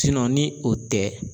ni o tɛ.